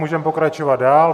Můžeme pokračovat dál.